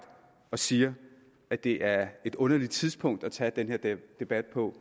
siger at det er et underligt tidspunkt at tage den her debat på